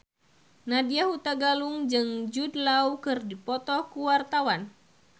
Nadya Hutagalung jeung Jude Law keur dipoto ku wartawan